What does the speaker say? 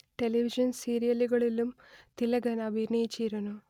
television സീരിയലുകളിലും തിലകൻ അഭിനയിച്ചിരുന്നു